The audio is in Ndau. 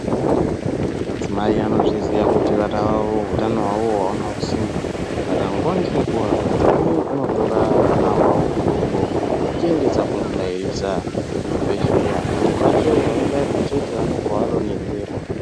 Madzimai anozviziya kuti vana vavo hutano hwavo awunawo kusimba , saka nguwa ngenguwa madzimai anotora vana vavo hudoko vachiendesa kundobairisa kuzvibhedhleya pamwe pacho avabairwi chete vanobva vadonhedzerwa .